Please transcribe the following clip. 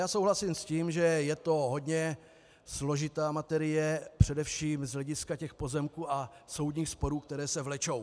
Já souhlasím s tím, že je to hodně složitá materie především z hlediska těch pozemků a soudních sporů, které se vlečou.